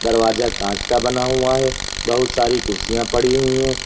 दरवाजा कांच का बना हुआ है बहुत सारी कुर्सियां पड़ी हुई है।